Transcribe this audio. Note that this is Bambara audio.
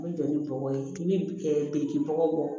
N bɛ jɔ ni bɔgɔ ye i bɛ biriki bɔgɔ bɔ